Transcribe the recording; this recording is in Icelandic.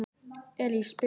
Elís, spilaðu lag.